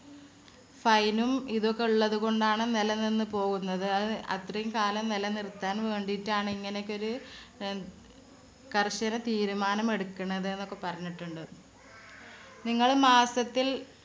fine ഉം ഇതും ഒക്കെ ഉള്ളതുകൊണ്ടാണ് നിലനിന്ന് പോകുന്നത്. അത് അത്രയും കാലം നിലനിർത്താൻവേണ്ടിട്ടാണ്‌ ഇങ്ങനെയൊക്കെ ഒരു അഹ് കർശന തീരുമാനം എടുക്കണത് എന്നൊക്കെ പറഞ്ഞിട്ടുണ്ട്. നിങ്ങള് മാസത്തിൽ